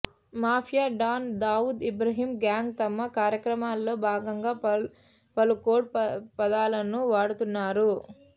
mafia don Dawood Ibrahim gang తమ కార్యక్రమాల్లో భాగంగా పలు కోడ్ పదాలను వాడుతున్నారు